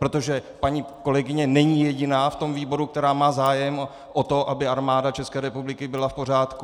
Protože paní kolegyně není jediná v tom výboru, která má zájem o to, aby Armáda České republiky byla v pořádku.